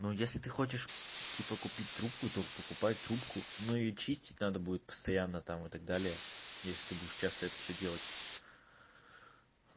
ну если ты хочешь типа купить трубку то покупай трубку но её чистить надо будет постоянно там и так далее если ты будешь часто это всё делать